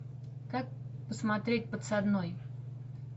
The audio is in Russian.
как посмотреть подсадной